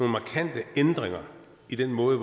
markante ændringer i den måde